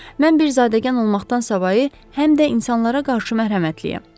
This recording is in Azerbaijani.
Mən bir zadəgan olmaqdan savayı həm də insanlara qarşı mərhəmətliyəm.